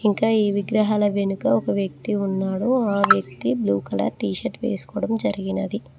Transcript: ఇంకా ఈ విగ్రహాల వెనుక ఒక వ్యక్తి ఉన్నాడు ఆ వ్యక్తి బ్లూ కలర్ టీషర్ట్ వేసుకోవడం జరిగినది.